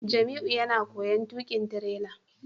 Jamiu yana koyon tukin tirela